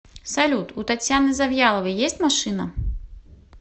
салют у татьяны завьяловой есть машина